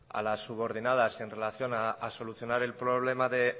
a las subordinadas y en relación a solucionar el problema de